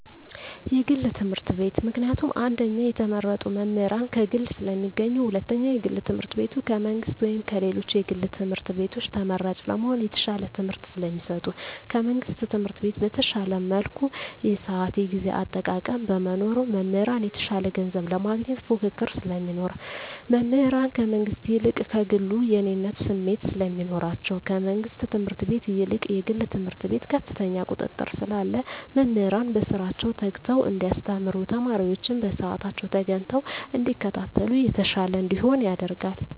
የግል ትምህርት ቤት። ምክንያቱም አንደኛ የተመረጡ መምህራን ከግል ስለሚገኙ ሁለተኛ የግል ትምህርት ቤቱ ከመንግስት ወይም ከሌሎች የግል ትምህርት ቤቶች ተመራጭ ለመሆን የተሻለ ትምህርት ስለሚሰጡ። ከመንግስት ትምህርት ቤት በተሻለ መልኩ የስአት የጊዜ አጠቃቀም በመኖሩ። መምህራን የተሻለ ገንዘብ ለማግኘት ፉክክር ስለሚኖር። መምህራን ከመንግስት ይልቅ ከግሉ የእኔነት ስሜት ስለሚኖራቸዉ። ከመንግስት ትምህርት ቤት ይልቅ የግል ትምህርት ቤት ከፍተኛ ቁጥጥር ስላለ መምህራን በስራቸዉ ተግተዉ እንዲያስተምሩ ተማሪወችም በስአታቸዉ ተገኝተዉ እንዲከታተሉ የተሻለ እንዲሆን ያደርጋል።